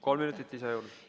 Kolm minutit lisaaega juurde!